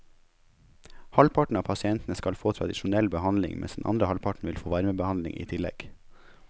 Halvparten av pasientene skal få tradisjonell behandling, mens den andre halvparten vil få varmebehandling i tillegg.